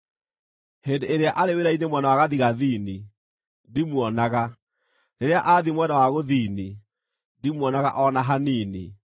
Hĩndĩ ĩrĩa arĩ wĩra-inĩ mwena wa gathigathini, ndimuonaga; rĩrĩa athiĩ mwena wa gũthini, ndimuonaga o na hanini.